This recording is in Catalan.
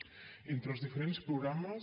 entre els diferents programes